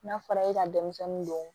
N'a fɔra e ka denmisɛnnin don